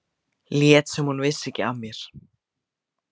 Lét sem hún vissi ekki af mér.